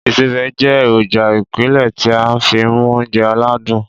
Ìsebẹ̀ jẹ́ èròjà ìpìlẹ̀ tí a n fi mu oúnjẹ ládún.